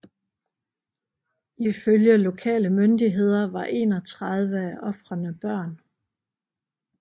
Ifølge lokale myndigheder var 31 af ofrerne børn